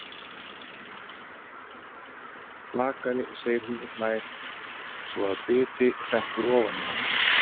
Bakari, segir hún og hlær svo að biti hrekkur ofan í hana.